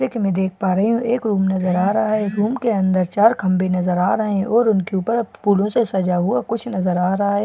देख पा रही हूं एक रूम के अंदर चार खंबे नजर आ रहे हैं और उनके ऊपर फूलों से सजा हुआ कुछ नजर आ रहा है।